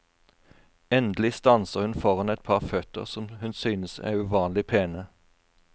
Endelig stanser hun foran et par føtter som hun synes er uvanlig pene.